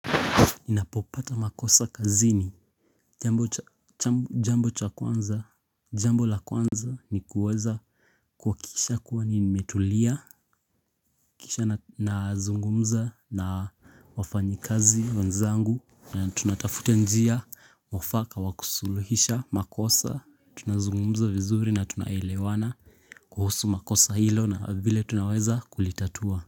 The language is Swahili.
Ninapopata makosa kazini, jambo cha kwanza, jambo la kwanza ni kuweza kuwakisha kuwa nimetulia, kisha nazungumza na wafanyikazi wenzangu na tunatafuta njia mwafaka wa kusuluhisha makosa. Tunazungumza vizuri na tunaelewana kuhusu makosa hilo na vile tunaweza kulitatua.